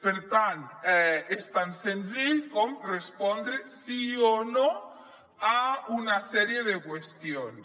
per tant és tan senzill com respondre sí o no a una sèrie de qüestions